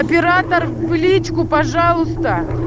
оператор в личку пожалуйста